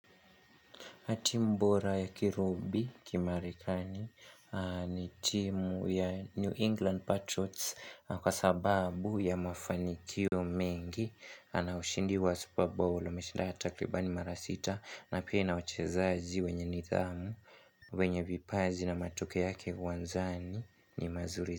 Timbora ya Kirubi kimarekani ni timu ya New England Patriots kwa sababu ya mafanikio mengi ana ushindi wa superballo ameshinda ya takribani mara sita na pia ina wachezaji wenye nidhamu wenye vipaji na matukio yake uwanjani ni mazuri zi.